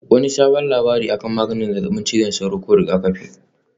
Wani sabon labari akan maganin zazzabin cizon sauro ko rigakafin?